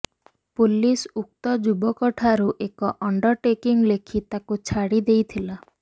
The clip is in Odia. ପୁଲିସ ଉକ୍ତ ଯୁବକଠାରୁ ଏକ ଅଣ୍ଡରଟେକିଂ ଲେଖି ତାକୁ ଛାଡି ଦେଇଥିଲା